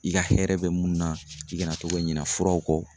I ka hɛrɛ bɛ mun na i kana to ka ɲina furaw kɔ.